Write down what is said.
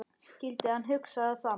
Skyldi hann hugsa það sama?